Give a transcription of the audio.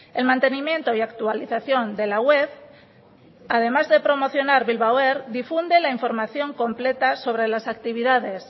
el mantenimiento y actualización de la web además de promocionar bilbao air difunde la información completa sobre las actividades